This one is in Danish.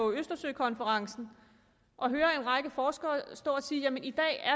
østersøkonferencen og høre en række forskere stå og sige